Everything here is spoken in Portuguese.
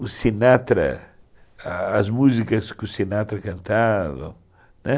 O Sinatra, as músicas que o Sinatra cantava, né.